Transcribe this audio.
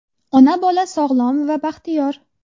Ona-bola sog‘lom va baxtiyor.